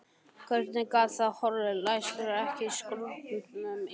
Hvernig gat það horfið, læstirðu ekki skúrnum í nótt?